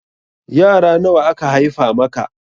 Yara nawa aka haifa maka?